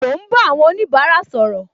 Mo ń bá àwọn onibara sọ̀rọ̀